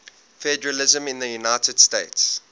federalism in the united states